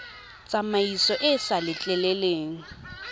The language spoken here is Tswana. tsamaiso e e sa letleleleng